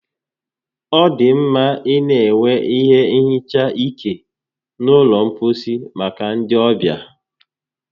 Ọ dị mma ịna enwe ihe nhicha ike n'ụlọ mposi maka ndi ọbịa